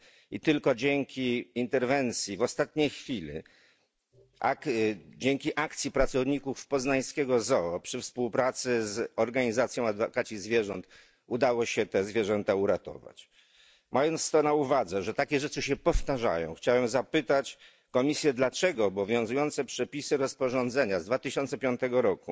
I tylko dzięki interwencji w ostatniej chwili, dzięki akcji pracowników poznańskiego zoo przy współpracy z organizacją Adwokaci Zwierząt udało się te zwierzęta uratować. Mając to na uwadze, że takie rzeczy się powtarzają, chciałem zapytać Komisję, dlaczego obowiązujące przepisy rozporządzenia z 2005 r.